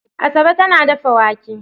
Asabe tana dafa wake.